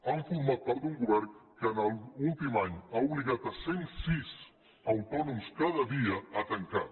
han format part d’un govern que en l’últim any ha obligat cent sis autònoms cada dia a tancar